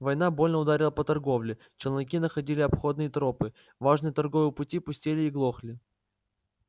война больно ударила по торговле челноки находили обходные тропы важные торговые пути пустели и глохли